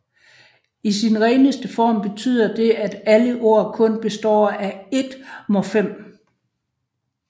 I sin reneste form betyder det at alle ord kun består af ét morfem